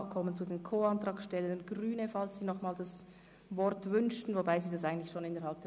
Anschliessend kommen wir zum Co-Antragsteller Grüne, wenn das Wort gewünscht wird.